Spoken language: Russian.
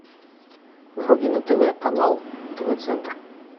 вруби на тв канал тв центр